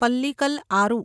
Pallikal Aru